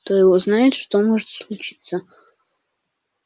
кто его знает что может случиться